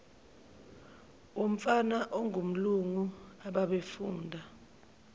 womfana ongumlungu ababefunda